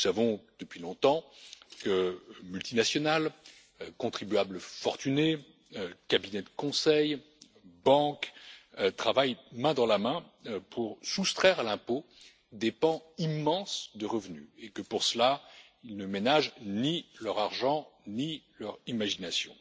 Nous savons depuis longtemps que multinationales, contribuables fortunés, cabinets de conseil et banques travaillent main dans la main pour soustraire à l'impôt des pans immenses de revenus et que pour cela, ils ne ménagent ni leur argent ni leur imagination.